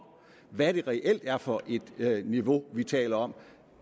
hvad det reelt er for et niveau vi taler om